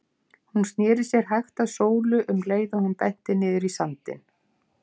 Hún sneri sér hægt að Sólu um leið og hún benti niður í sandinn.